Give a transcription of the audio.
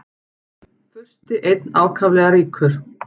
Fursti einn ákaflega ríkur.